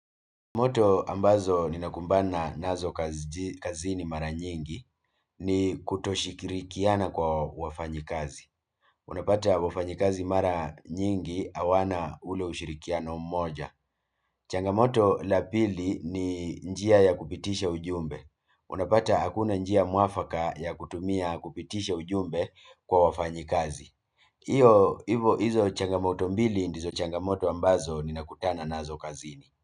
Changamoto ambazo ninakumbana nazo kazini mara nyingi ni kutoshirikiana kwa wafanyakazi. Unapata wafanyakazi mara nyingi hawana ule ushirikiano mmoja. Changamoto la pili ni njia ya kupitisha ujumbe. Unapata hakuna njia mwafaka ya kutumia kupitisha ujumbe kwa wafanyakazi. Hivyo, hizo changamoto mbili ndizo changamoto ambazo ninakutana nazo kazini.